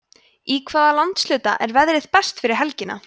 í hvaða landshluta er veðrið best yfir helgina